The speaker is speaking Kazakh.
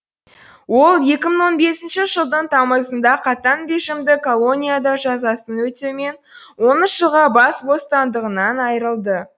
ол екі мың он бесінші жылдың тамызында қатаң режимді колонияда жазасын өтеумен он үш жылға бас бостандығынан айырылды